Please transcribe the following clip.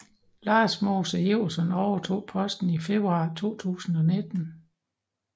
Lars Mose Iversen overtog posten i februar 2019